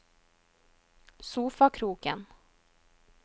sofakroken